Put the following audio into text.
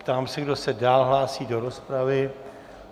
Ptám se, kdo se dál hlásí do rozpravy.